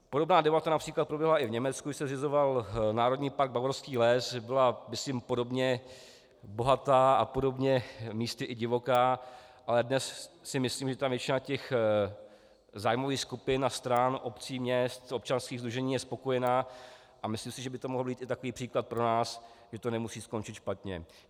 Podobná debata například proběhla i v Německu, když se zřizoval národní park Bavorský les, byla myslím podobně bohatá a podobně místy i divoká, ale dnes si myslím, že tam většina těch zájmových skupin a stran, obcí, měst, občanských sdružení je spokojená, a myslím si, že by to mohl být i takový příklad pro nás, že to nemusí skončit špatně.